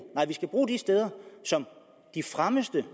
nej vi skal bruge de steder som de fremmeste